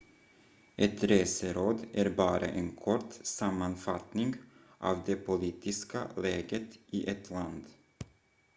ett reseråd är bara en kort sammanfattning av det politiska läget i ett land